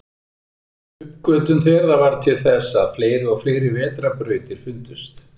uppgötvun þeirra varð til þess að fleiri og fleiri vetrarbrautir fundust